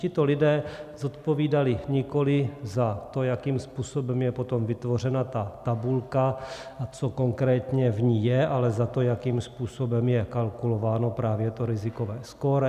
Tito lidé zodpovídali nikoli za to, jakým způsobem je potom vytvořena ta tabulka a co konkrétně v ní je, ale za to, jakým způsobem je kalkulováno právě to rizikové skóre.